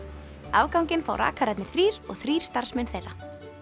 afganginn fá þrír og þrír starfsmenn þeirra